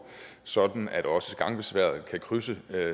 sådan at også gangbesværede kan krydse